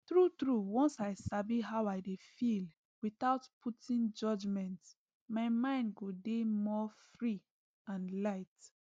truetrue once i sabi how i dey feel without putting judgment my mind go dey more free and light